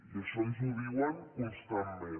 i això ens ho diuen constantment